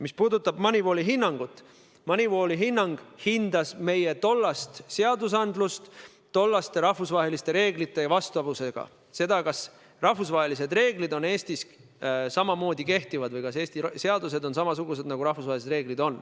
Mis puudutab Moneyvali hinnangut, siis see hindas meie tollast seadusandlust tollaste rahvusvaheliste reeglitega vastavuse seisukohast – seda, kas rahvusvahelised reeglid on Eestis samamoodi kehtivad või kas Eesti seadused on samasugused, nagu on rahvusvahelised reeglid.